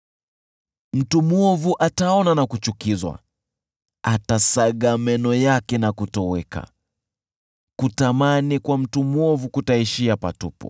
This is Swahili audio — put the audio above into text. Mtu mwovu ataona na kuchukizwa, atasaga meno yake na kutoweka, kutamani kwa mtu mwovu kutaishia patupu.